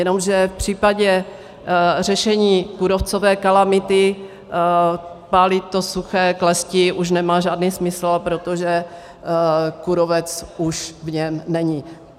Jenomže v případě řešení kůrovcové kalamity pálit to suché klestí už nemá žádný smysl, protože kůrovec už v něm není.